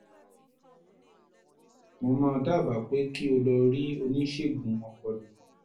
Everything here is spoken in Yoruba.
mo máa dábàá pé kí o lọ rí oníṣègùn ọpọlọ